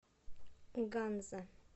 ганза